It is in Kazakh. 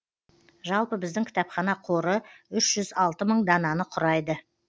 жалпы біздің кітапхана қоры үш жүз алты мың дананы құрайды